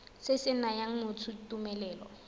se se nayang motho tumelelo